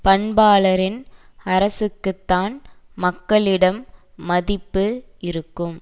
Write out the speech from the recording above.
பண்பாளரின் அரசுக்குத்தான் மக்களிடம் மதிப்பு இருக்கும்